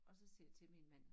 Og så siger jeg til min mand